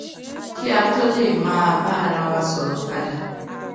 kí a tó lè máa bá ara wa sòrò padà